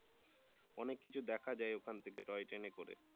অনেক কিছু দেখা যায় ওখান থেকে টয় ট্রেনে করে